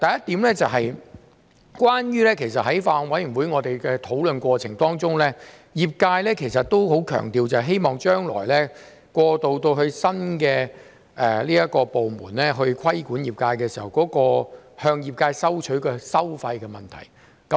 第一，在法案委員會討論過程中，業界也相當強調將來過渡至由新部門規管業界時，向業界收費的問題。